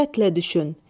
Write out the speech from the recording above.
Diqqətlə düşün.